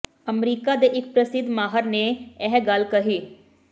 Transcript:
America ਦੇ ਇਕ ਪ੍ਰਸਿੱਧ ਮਾਹਰ ਨੇ ਇਹ ਗੱਲ ਕਹੀ